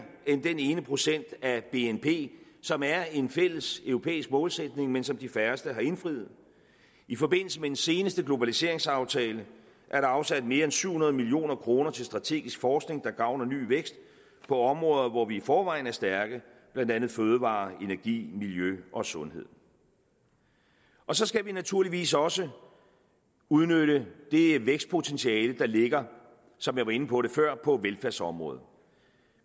end den ene procent af bnp som er en fælles europæisk målsætning men som de færreste har indfriet i forbindelse med den seneste globaliseringsaftale er der afsat mere end syv hundrede million kroner til strategisk forskning der gavner ny vækst på områder hvor vi i forvejen er stærke blandt andet fødevarer energi miljø og sundhed så skal vi naturligvis også udnytte det vækstpotentiale der ligger som jeg var inde på før på velfærdsområdet